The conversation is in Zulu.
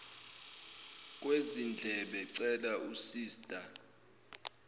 kwezindlebe cela usista